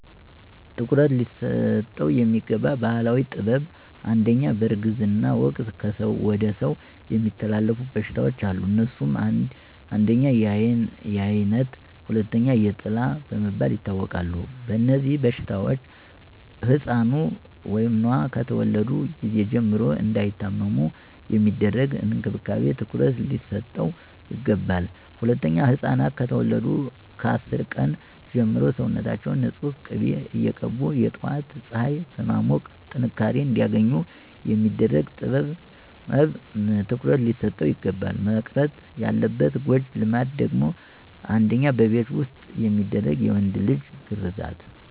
ትኩረት ሊሰጠው የሚገባ ባህላዊ ጥበብ #1, በእርግዝና ወቅት ከሰው ወደ ሰው የሚተላለፉ በሽታዎች አሉ. አነሱም: 1, የአይነት 2, የጥላ በመባል ይታወቃሉ. በእነዚህበሽታዎች ሕፃኑ(ኗ)ከተወለዱ ጊዜ ጀምሮ እንዳይታመሙ የሚደረግ እንክብካቤ ትኩረት ሊሰጠው ይገባል. #2, ሕፃናት ከተወለዱ ከ10 ቀን ጀምሮ ሰውነታችውን ንፁህ ቂቤ እየቀቡ የጧት ፀሐይ በማሞቅ ጥንካሬ አንዲያገኙ የሚደረግ ጥበብ ትኩረት ሊሰጠው ይግባላል. መቅረት ያለባት ጎጂ ልማድ ደግሞ: 1, በቤት ዉስጥ የሚደረግ የወንድ ልጅ ግርዛት